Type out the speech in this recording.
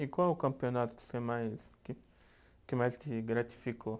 E qual o campeonato que você mais, que que mais te gratificou?